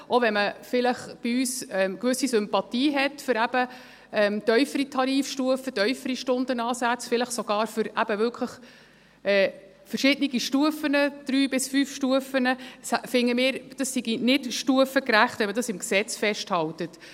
Auch wenn man bei uns vielleicht gewisse Sympathie für tiefere Tarifstufen, tiefere Stundenansätze, vielleicht sogar eben wirklich für verschiedene Stufen, 3–5 Stufen, hat, finden wir, es sei nicht stufengerecht, wenn man das im Gesetz festhält.